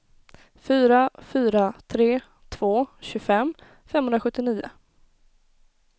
fyra fyra tre två tjugofem femhundrasjuttionio